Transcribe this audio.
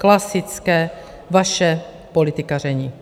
Klasické vaše politikaření.